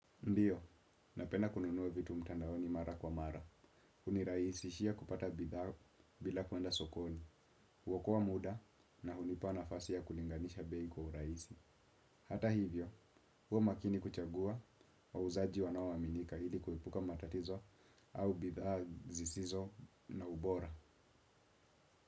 Ndio, napenda kununua vitu mtandaoni mara kwa mara. Hunirahisishia kupata bidhaa bila kwenda sokoni. Huokoa muda na hunipa nafasi ya kulinganisha bei kwa urahisi. Hata hivyo, huwa maakini kuchagua wauzaji wanaoaminika ili kuepuka matatizo au bidhaa zisizo na ubora.